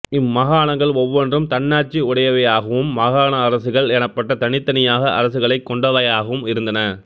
இம்மாகாணங்கள் ஒவ்வொன்றும் தன்னாட்சி உடையவையாயும் மாகாண அரசுகள் எனப்பட்ட தனித்தனியாக அரசுகளைக் கொண்டவையாகவும் இருந்தன